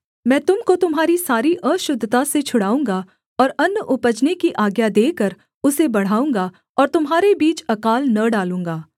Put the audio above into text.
मैं तुम को तुम्हारी सारी अशुद्धता से छुड़ाऊँगा और अन्न उपजने की आज्ञा देकर उसे बढ़ाऊँगा और तुम्हारे बीच अकाल न डालूँगा